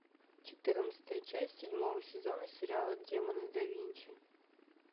четырнадцатая часть седьмого сезона сериала демоны да винчи